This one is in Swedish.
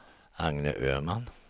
Agne Öhman